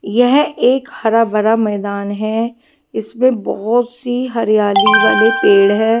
यह एक हरा भरा मैदान है इसमें बहुत सी हरियाली वाले पेड़ है।